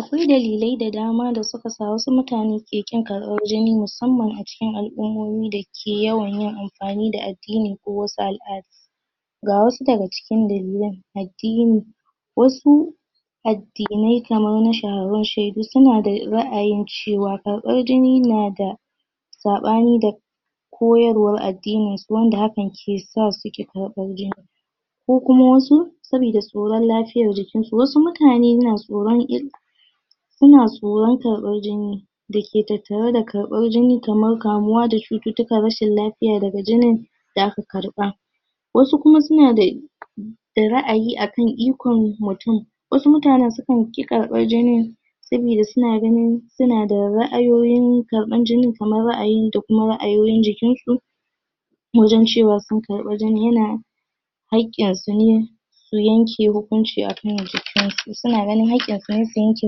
Akwai dalilai da dama da suka sa wasu mutane ke ƙin karɓan reni musamman a cikin al'ummomi da ke yawan yin amfani da addini ko wasu al'ada ga wasu daga cikin dalilan, addini wasu addinai kaman shaidu, suna da ra'ayin cewa na da saɓani da koyarwar addini wanda hakan ke sa suke karɓan jini ko kuma wasu, sabida tsoran lafiyar jikin su, wasu mutane na tsoran illa suna tsoran karɓan jini da ke tattare da karɓan jini kamar kamuwa da chututtukan rashin lafiya daga jinin da aka karɓa wasu kuma suna da... da ra'ayi akan ikon mutum, wasu mutanen sukan ƙi karɓan jinin sabida suna ganin suna da ra'ayoyin karɓan jinin kaman ra'ayin da kuma ra'ayoyin jikin su wajen cewa sun karɓa jinin, yana hakin su ne su yanke hukunci akan jikin su, suna ganin haƙin su ne su yanke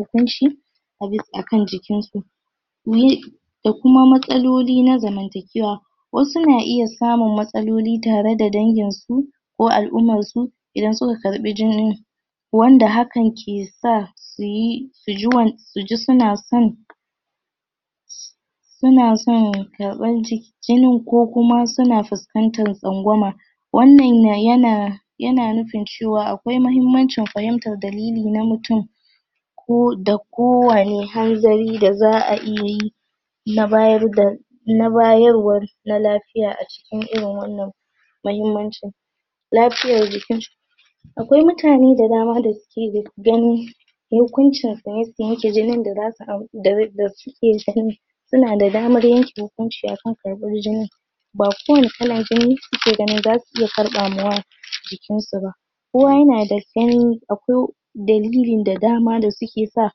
hukunci a kan jikin su da kuma matsaloli na zamantaƙewa wasu na iya samun matsaloli tare da dangin su ko al'umman su idan suka karɓi jinin wanda hakan ke sa su yi... su ji suna son suna son karɓan jinin, ko kuma suna fuskantan tsangwama wannan yana, yana nufin cewa akwai mahimmancin fahimtar dalili na mutum ko, da ko wane hanzari da za'a iya yi na bayarda na bayarwar na lafiya a cikin irin wannan mahimmancin lafiyar jiki akwai mutane da dama da suke ganin mutuncin yukunci su ne su yanke jinin da za su... da suke ganin suna da damar yanke hukunci a kan karɓar jinin ba kowa ne kalan jini suke ganin za su iya karɓa ma wa jikin su ba kowa yana da jini, akwai dalilin da dama da suke sa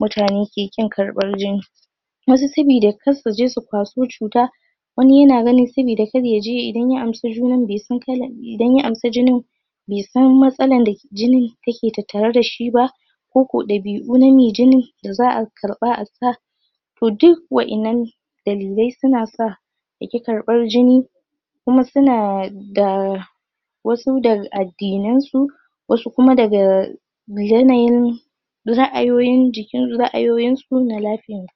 mutane ke ƙin karɓar jini wasu sabida kar su je su kwaso chuta wani yana ganin sabida kar ya je idan ya amsa jinin bai san kalan, idan ya amsa jinin bai san matsalar da jinin yake tattare da shi ba ko ko ɗabi'u na mai jinin da za'a karɓa a sa toh duk wa'inan dalilai su na sa ya ƙi karɓar jini kuma suna da wasu daga addinansu wasu kuma daga yanayin ra'ayoyin jikin, ra'ayoyin su na lafiya.